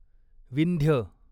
Vindhya